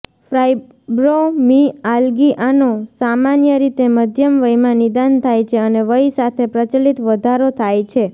ફાઈબ્રોમીઆલ્ગીઆનો સામાન્ય રીતે મધ્યમ વયમાં નિદાન થાય છે અને વય સાથે પ્રચલિત વધારો થાય છે